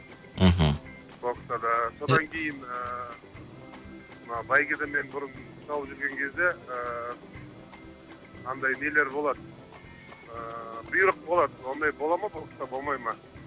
мхм бокстарда содан кейін ыыы мына бәйгеде мен бұрын шауып жүрген кезде ыыы мынандай нелер болады ыыы бұйрық болады ондай бола ма бокста болмай ма